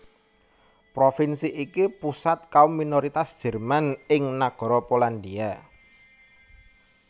Provinsi iki pusat kaum minoritas Jerman ing Nagara Polandia